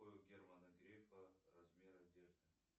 какой у германа грефа размер одежды